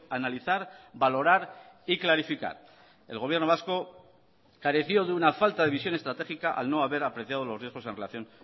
analizar valorar y clarificar el gobierno vasco careció de una falta de visión estratégica al no haber apreciado los riesgos en relación